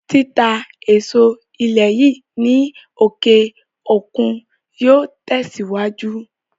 Títà èso ilé yìí ní òkè òkun yóò tẹ̀sìwájú